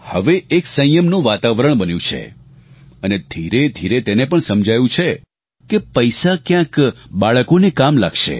હવે એક સંયમનું વાતાવરણ બન્યું છે અને ધીરેધીરે તેને પણ સમજાયું છે કે પૈસા ક્યાંક બાળકોને કામ લાગશે